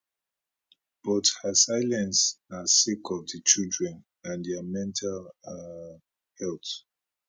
but her silence na sake of di children and dia mental um health